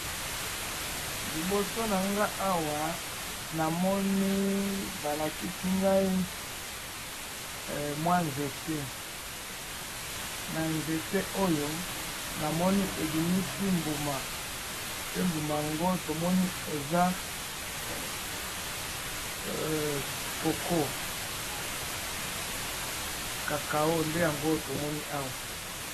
liboso na nga awa namoni balakisi ngai mwa nzete na nzete oyo namoni ebimisi mbuma pe mbuma yango tomoni eza koko cacao nde yango tomoni awa